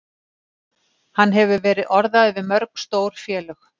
Hann hefur verið orðaður við mörg stór félög.